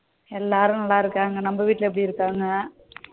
எல்லோரும் நல்லா இருக்காங்க நம்ம வீடுல எப்டி இருக்காங்க?